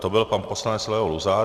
To byl pan poslanec Leo Luzar.